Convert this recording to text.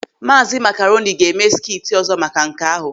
Maazi Makaroni ga-eme skiti ọzọ maka nke ahụ.